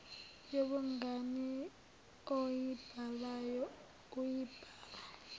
yobungani oyibhalayo uyibhala